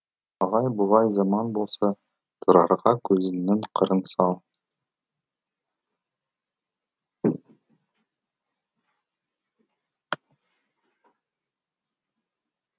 алай бұлай заман болса тұрарға көзіңнің қырын сал